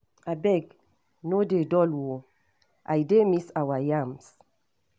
Abeg, no dey dull o! I dey miss our yarns.